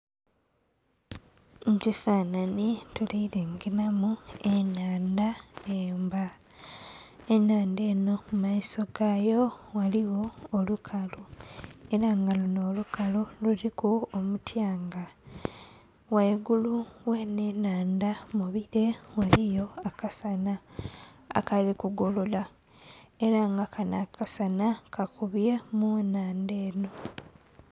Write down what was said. Mu kifanhanhi tuli lengelamu ennhandha emba. Ennhandha enho mu maiso gayo ghaligho olukalu ela nga lunho olukalu luliku omuthyanga. Ghaigulu ghenho ennhandha mu bile ghaliyo akasanha akali kugolola ela nga kanho akasanha kakubye mu nnhandha enho.